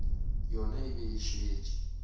yona e be e šetše